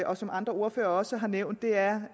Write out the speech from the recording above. og som andre ordførere også har nævnt er